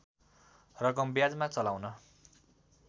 रकम ब्याजमा चलाउन